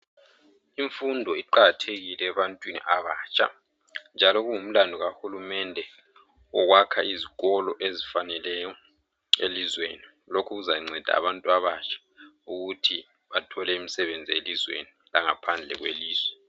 Imfundo iqakathekile ebantwini abatsha njalo kungumlando kahulumende ukwakha izikolo ezifaneleyo elizweni. Lokhu kuzanceda abantu abatsha ukuthi bathole umsebenzi elizweni langaphandle kwelizwe.